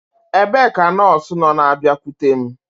Ebee ka nọọsụ nọ na-abịakwute m?